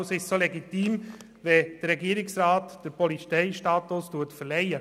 Deshalb ist es legitim, wenn der Regierungsrat den Polizeistatus verleiht.